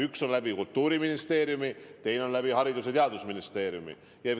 Üks meede on Kultuuriministeeriumi, teine on Haridus- ja Teadusministeeriumi kaudu.